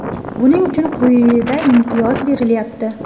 Buning uchun quyida imtiyoz berilyapti.